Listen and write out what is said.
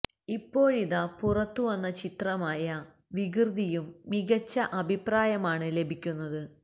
ഇപ്പോഴിത പുറത്തു വന്ന ചിത്രമായ വികൃതിയും മികച്ച അഭിപ്രായമാണ് ലഭിക്കുന്നത്